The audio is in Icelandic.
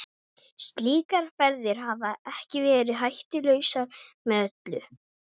Slíkar ferðir hafa ekki verið hættulausar með öllu.